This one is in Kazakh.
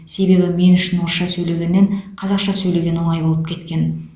себебі мен үшін орысша сөйлегеннен қазақша сөйлеген оңай болып кеткен